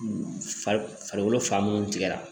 Farikolo fan munnu tigɛra